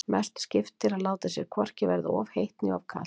Mestu skiptir að láta sér hvorki verða of heitt né of kalt.